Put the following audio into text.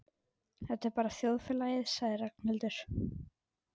Þetta er bara þjóðfélagið sagði Ragnhildur.